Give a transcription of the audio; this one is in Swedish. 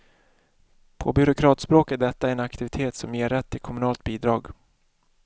På byråkratspråk är detta en aktivitet som ger rätt till kommunalt bidrag.